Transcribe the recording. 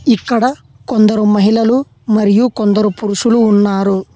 ఇక్కడ కొందరు మహిళలు మరియు కొందరు పురుషులు ఉన్నారు.